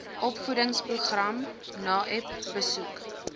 opvoedingsprogram naep besoek